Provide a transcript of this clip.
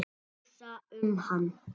Hugsa um hann.